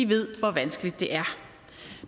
ved hvor vanskeligt det er